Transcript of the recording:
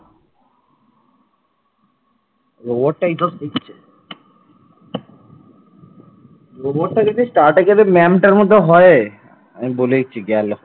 robot টা যদি স্টার্টএকের ওই ma'am টার মতন হয়, আমি বলে দিচ্ছি গেল